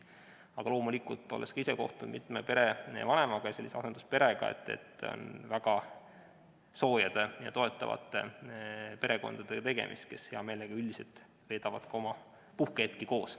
Aga loomulikult, olles ka ise kohtunud mitme perevanemaga, asendusperega, saan öeda, et üldiselt on tegemist väga soojade ja toetavate perekondadega, kes üldiselt veedavad hea meelega ka oma puhkehetki koos.